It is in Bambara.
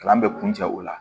Kalan bɛ kun cɛ o la